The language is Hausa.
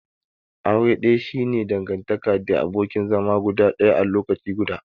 Aure daya shi ne dangantaka the abokin zama guda daya a lokaci guda.